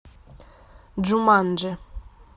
джуманджи